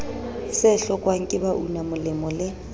se hlokwang ke baunamolemo le